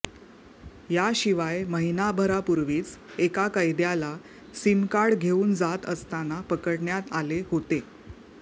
याशिवाय महिनाभरापूर्वीच एका कैद्याला सीमकार्ड घेऊन जात असताना पकडण्यात आले होते